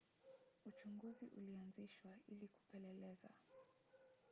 uchunguzi ulianzishwa ili kupeleleza